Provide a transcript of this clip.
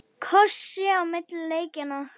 Kosið á milli leikja?